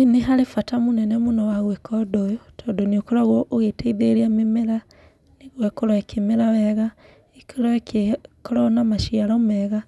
Ĩĩ nĩ harĩ bata mũnene wa gwĩka ũndũ ũyũ, tondũ nĩ ũkoragwo ũgĩteithĩrĩria mĩmera nĩguo ĩkorwo ĩkĩmera wega, ĩkorwo ĩkorwo na maciaro mega.